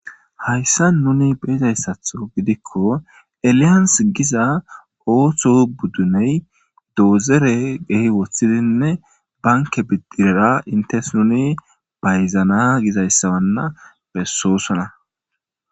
hayssa nuni beezayssatho gidikko alians giza ooththo budduney doozere gehi woththidinne banke biddirera intes nuni bayzana gizayssawanna bessoosona